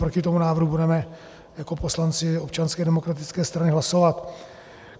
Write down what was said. Proti tomu návrhu budeme jako poslanci Občanské demokratické strany hlasovat.